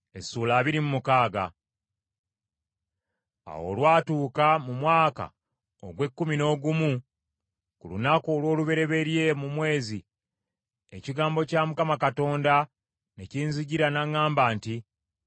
Awo olwatuuka mu mwaka ogw’ekkumi n’ogumu ku lunaku olw’olubereberye mu mwezi, ekigambo kya Mukama Katonda ne kinzijira n’aŋŋamba nti,